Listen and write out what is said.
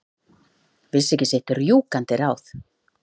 Vissi ekki sitt rjúkandi ráð.